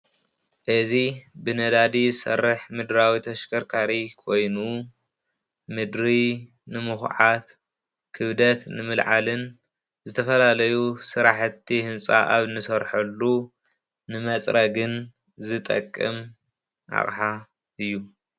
እዚ ብነዳዲ ዝሰርሕ ምድራዊ ተሽከርካሪ ኮይኑ ምድሪ ንምኹዓት ክብደት ንምልዓልን ዝተፈላለዩ ስራሕቲ ህንፃ ኣብ እንሰርሐሉ ንመፅረግን ዝጠቅም ኣቕሓ እዩ።